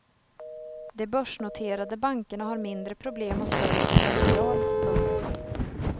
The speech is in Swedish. De börsnoterade bankerna har mindre problem och större potential. punkt